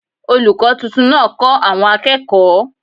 Olùkọ́ tuntun náà kó àwọn akekooy